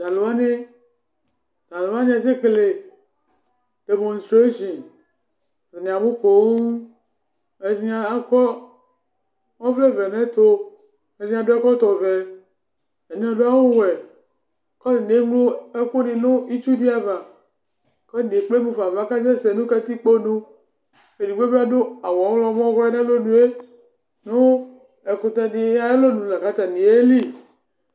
Tʋ alʋ wanɩ aƙasɛƙele ɖemɔstreshin, ata nɩ abʋ poooAta nɩ aƙɔ ɔvlɛ vɛ nʋ ɛtʋ, ɛɖɩnɩ aɖʋ ɛƙɔtɔ ɔvɛ, ɛɖɩnɩ aɖʋ awʋ wɛ; kʋ ata nɩ ewu ɛƙʋ nɩ nʋ itsu ɖɩ ava, ƙʋ ata nɩ emufa nʋ ava ƙʋ aƙa sɛsɛ nʋ katiƙponu Eɖigbo bɩ aɖʋ awʋ ɔɣlɔmɔ bɩ nʋ alɔnue, ƙʋ ɛkʋtɛ ɖɩ aƴʋ alɔnu la ƙʋ aƙa sɛsɛ